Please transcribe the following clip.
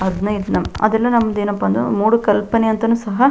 ಹದ್ನಾಯ್ಡ್ ನಮ್ ಅದೆಲ್ಲ ನಂದೇನಪ್ಪಾ ಅಂದ್ರೆ ಮೂಡು ಕಲ್ಪನೆ ಅಂತ ಸಹ --